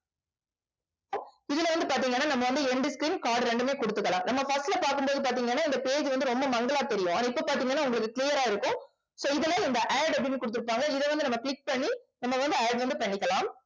இதுல வந்து பார்த்தீங்கன்னா நம்ம வந்து end screen card இரண்டுமே கொடுத்துக்கலாம். நம்ம first ல பார்க்கும் போது பார்த்தீங்கன்னா இந்த page வந்து ரொம்ப மங்கலா தெரியும். ஆனால் இப்ப பார்த்தீங்கன்னா உங்களுக்கு clear ஆ இருக்கும் so இதுல இந்த add அப்படின்னு குடுத்திருப்பாங்க. இதை வந்து நம்ம click பண்ணி நம்ம வந்து add வந்து பண்ணிக்கலாம்